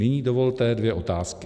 Nyní dovolte dvě otázky.